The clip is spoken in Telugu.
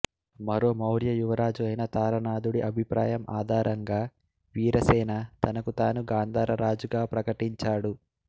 మరో మౌర్య యువరాజు అయిన తారనాథుడి అభిప్రాయం ఆధారంగా వీరసేన తనకు తాను గాంధార రాజుగా ప్రకటించాడు